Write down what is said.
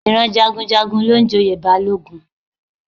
Ìran Jagunjagun ló ń joyè Balógun